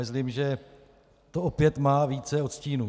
Myslím, že to opět má více odstínů.